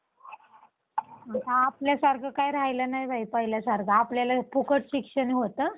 आणि त्यामुळे वातावरणात बदल घडून येताना दिसतोय. आपण बघितलं तर आता ऋतुचक्रात पूर्णपणे बदल झालेला दिसतोय, म्हणजे जे तीन अं ऋतू आहेत- उन्हाळा, पावसाळा, हिवाळा